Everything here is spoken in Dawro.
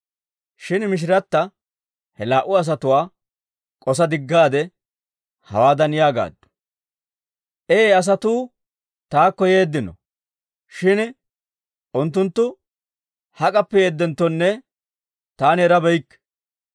Shin mishirata he laa"u asatuwaa k'osa diggaade, hawaadan yaagaaddu; «Ee asatuu taakko yeeddino; shin unttunttu hak'appe yeedenttonne taani erabeykke.